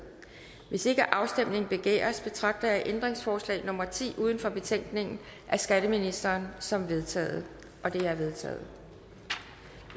hvis ikke afstemning begæres betragter jeg ændringsforslag nummer ti uden for betænkningen af skatteministeren som vedtaget det er vedtaget